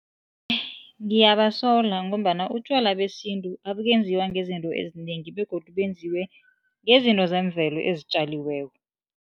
Ngiyabasola ngombana utjwala besintu abukenziwa ngezinto ezinengi begodu benziwe ngezinto zemvelo ezitjaliweko.